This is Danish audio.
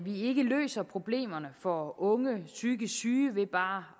ikke løser problemerne for unge psykisk syge ved bare